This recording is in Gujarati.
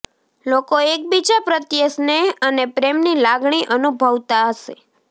લોકો એકબીજા પ્રત્યે સ્નેહ અને પ્રેમની લાગણી અનુભવતા હશે